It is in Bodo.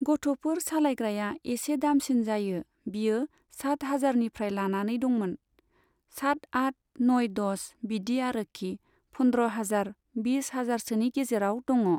गथ'फोर सालायग्राया एसे दामसिन जायो बियो सात हाजारनिफ्राय लानानै दंमोन, साट आट नइ दस बिदि आरोखि पन्द्र हाजार बिस हाजारसोनि गेजेराव दङ।